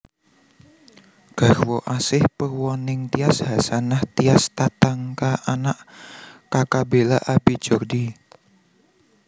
Garwa Asih Purwaningtyas Hasanah Tias Tatanka Anak Kaka Bela Abi Jordi